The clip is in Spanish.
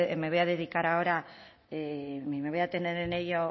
me voy a dedicar a ahora me voy a detener en ello